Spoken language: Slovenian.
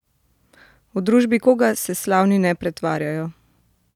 V družbi koga se slavni ne pretvarjajo?